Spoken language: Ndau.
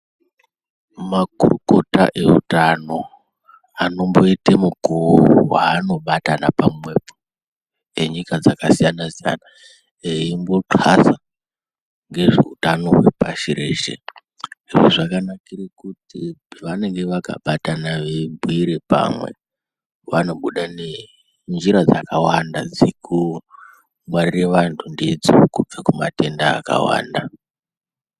Makurukota eutano anomboite mukuwo waanobatana pamwepo enyika dzakasiyana siyana, eimboxasa ngezveutano hwepashi reshe izvo zvakanakire kuti vanenge vakabatana veibhuire pamwe vanobuda nenjira dzakawanda dzekungwarira antu ndidzo kubva kumatenda akawanda.